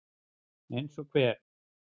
Eins og hver?